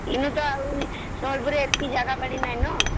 ଏଗୁଡି ଆଉ ସହରରେ ଏତିକି ଜାଗା ବାଡ଼ି ନାଇଁ ନ